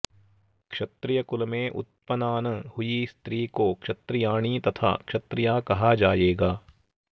क्षत्रिय कुल में उत्पनान हुई स्त्री को क्षत्रियाणी तथा क्षत्रिया कहा जाएगा